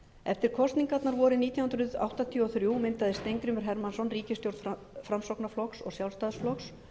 eftir kosningarnar vorið nítján hundruð áttatíu og þrjú myndaði steingrímur hermannsson ríkisstjórn framsóknarflokks og sjálfstæðisflokks